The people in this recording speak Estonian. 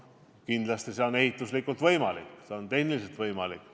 Kindlasti on see ehituslikult võimalik, see on tehniliselt võimalik.